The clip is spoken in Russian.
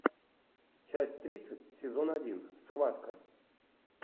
часть тридцать сезон один схватка